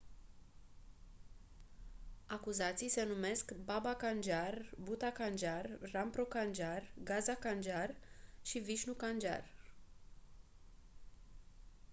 acuzații se numesc baba kanjar bhutha kanjar rampro kanjar gaza kanjar și vishnu kanjar